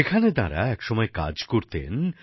যেখানে তাঁরা একসময়ে কিছু কাজ করতেন